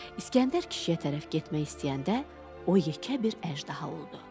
İsgəndər kişiyə tərəf getmək istəyəndə o yekə bir əjdaha oldu.